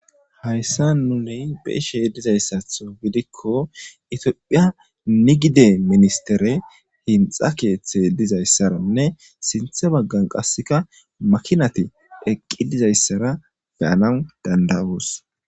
Hayssa nuni be'ishe dizayssaththo gidikko itophphiya nigide ministerey hinxxa keeththey dizayssanne sinththe baggan qassi makinati eqqi dizayssara be'anawu danda'os.